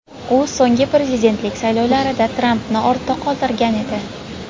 U so‘nggi prezidentlik saylovlarida Trampni ortda qoldirgan edi.